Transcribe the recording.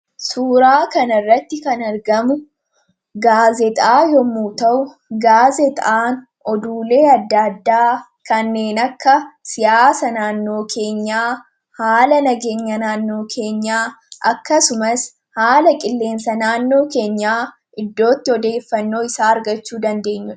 suuraa kan irratti kan argamu gaazexaa yommuu ta'u gaazexaan oduulee addaaddaa kanneen akka siyaasa naannoo keenyaa haala nageenya naannoo keenyaa akkasumas haala qilleensa naannoo keenyaa iddootti odeeffannoo isaa argachuu dandeenyu.